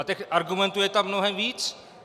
A těch argumentů je tam mnohem víc.